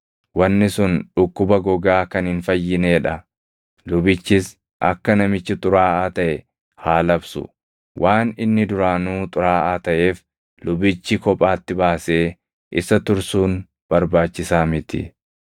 wanni sun dhukkuba gogaa kan hin fayyinee dha; lubichis akka namichi xuraaʼaa taʼe haa labsu. Waan inni duraanuu xuraaʼaa taʼeef lubichi kophaatti baasee isa tursuun barbaachisaa miti.